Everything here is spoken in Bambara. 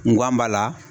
N gan b'a la